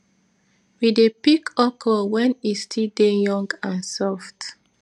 we dey pick okro when e still dey young and soft